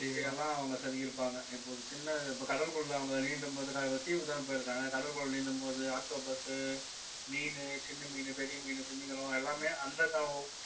எல்லாம் அவங்க செதுக்கி இருப்பாங்க இப்போ ஒரு சின்ன இப்ப கடலுக்குள்ள அவங்க நீந்தும் போது தீவுக்குத்தானே போயிருக்காங்க கடலுக்குள்ள நீந்தும்போது octopus மீனு சின்ன மீன், பெரிய மீன், திமிங்கலம் எல்லாமே அந்த